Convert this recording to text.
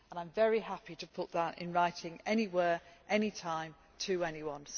I am very happy to put that in writing anywhere, any time to anyone.